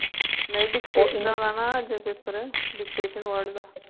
ਨਹੀਂ dictation ਨਾ ਦਾ ਅੱਜ ਪੇਪਰ dictation word ਦਾ